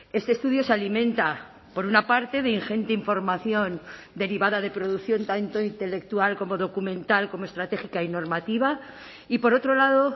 este estudio se alimenta por una parte de ingente información derivada de producción tanto intelectual como documental como estratégica y normativa y por otro lado